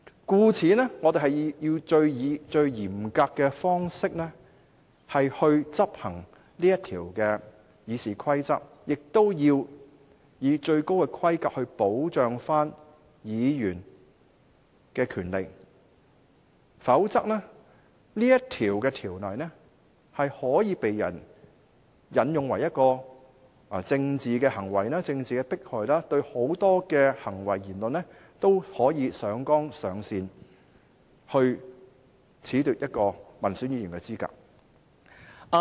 因此，我們應以最嚴格的方式來執行《議事規則》這項條文，亦要以最高規格保障議員的權利，否則這項條文可被人用來進行政治行為或政治迫害，對很多行為和言論也可以上綱上線，從而褫奪一位民選議員的資格。